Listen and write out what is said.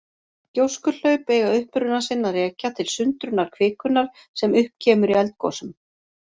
Gjóskuhlaup eiga uppruna sinn að rekja til sundrunar kvikunnar sem upp kemur í eldgosum.